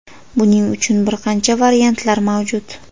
Buning uchun bir qancha variantlar mavjud.